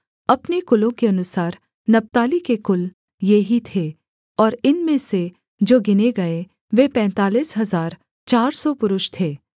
अपने कुलों के अनुसार नप्ताली के कुल ये ही थे और इनमें से जो गिने गए वे पैंतालीस हजार चार सौ पुरुष थे